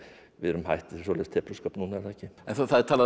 við erum hætt svoleiðis tepruskap núna er það ekki það er talað um